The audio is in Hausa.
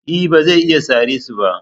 E, ba zai iya sare su ba.